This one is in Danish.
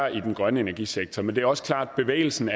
i den grønne energisektor men det er også klart at bevægelsen